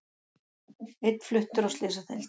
Einn fluttur á slysadeild